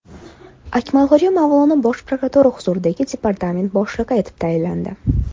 Akmalxo‘ja Mavlonov Bosh prokuratura huzuridagi departament boshlig‘i etib tayinlandi.